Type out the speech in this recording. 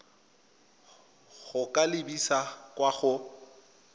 go ka lebisa kwa go